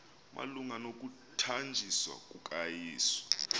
malunga nokuthanjiswa kukayesu